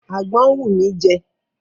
Àgbọn ń wù mí jẹ.